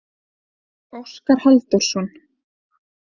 Óskar Halldórsson.